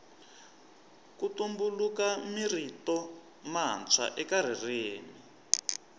ku tumbuluka mirito matswa eka ririmi